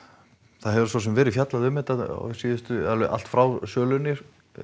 það hefur svo sem verið fjallað um þetta allt frá sölunni